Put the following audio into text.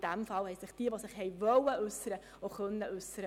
In diesem Fall konnten sich alle, die wollten, dazu äussern.